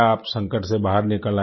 आप संकट से बाहर निकल आई